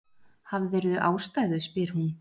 Hafðirðu ástæðu, spyr hún.